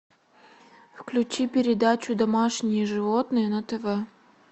включи передачу домашние животные на тв